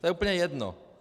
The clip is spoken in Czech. To je úplně jedno.